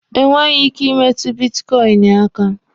Enweghi ike imetụ bitkọịnị aka.